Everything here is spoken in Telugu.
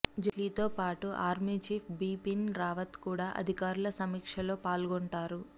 జైట్లీతో పాటు ఆర్మీ చీఫ్ బిపిన్ రావత్ కూడా అధికారుల సమీక్షలో పాల్గొంటారు